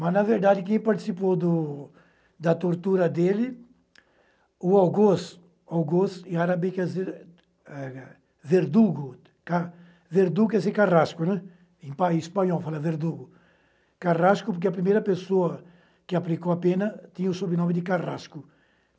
Mas, na verdade, quem participou do... da tortura dele, o Auguste, o Auguste em árabe quer dizer, eh, verdugo, tá, verdugo quer dizer carrasco, em espanhol fala verdugo, carrasco porque a primeira pessoa que aplicou a pena tinha o sobrenome de carrasco.